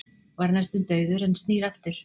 Var næstum dauður en snýr aftur